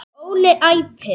Óli æpir.